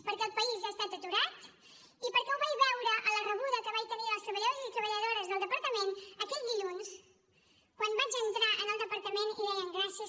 perquè el país ha estat aturat i perquè ho vaig veure a la rebuda que vaig tenir dels treballadors i les treballadores del departament aquell dilluns quan vaig entrar al departament i deien gràcies